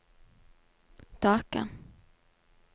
Dhaka